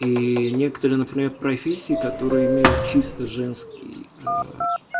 и некоторые профессии которые имеют чисто женский э